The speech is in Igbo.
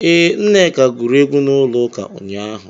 Ee, Nneka gụrụ egwu n'ụlọụka ụnyaahụ.